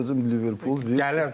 Deyirəm Liverpool, Virts.